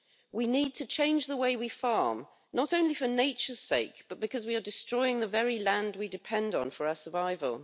We need to change the way we farm, not only for nature's sake, but because we are destroying the very land we depend on for our survival.